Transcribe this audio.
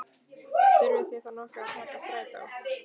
Þurfið þið þá nokkuð að taka strætó?